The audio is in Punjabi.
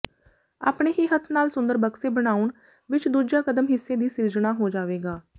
ਆਪਣੇ ਹੀ ਹੱਥ ਨਾਲ ਸੁੰਦਰ ਬਕਸੇ ਬਣਾਉਣ ਵਿਚ ਦੂਜਾ ਕਦਮ ਹਿੱਸੇ ਦੀ ਸਿਰਜਣਾ ਹੋ ਜਾਵੇਗਾ